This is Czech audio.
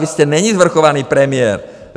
Vy jste neni svrchovaný premiér.